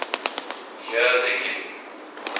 here the giving